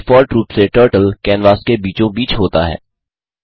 default रूप से turtle canvas के बीचों बीच होता है